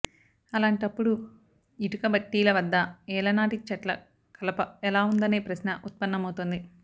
అలాంటప్పుడు ఇటుకబట్టీల వద్ద ఏళ్లనాటి చెట్ల కలప ఎలా ఉందనే ప్రశ్న ఉత్పన్నమవుతోంది